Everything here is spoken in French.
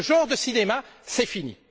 Ce genre de cinéma, c'est fini!